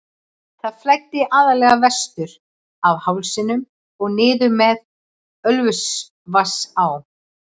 Það flæddi aðallega vestur af hálsinum og niður með Ölfusvatnsá.